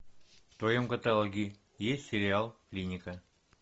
в твоем каталоге есть сериал клиника